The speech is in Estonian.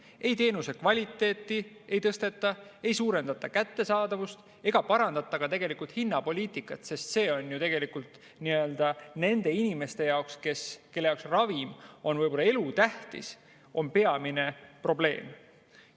Ei tõsteta teenuse kvaliteeti, ei kättesaadavust ega parandata ka hinnapoliitikat, mis ju tegelikult nende inimeste jaoks, kellele ravim on võib-olla elutähtis, on peamine probleem.